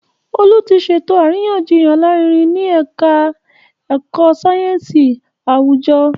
Olú ti ṣètò àríyànjiyàn alárinrin ní Ẹ̀ka ẹ̀kọ́ sáyẹ́nsì àwùjọ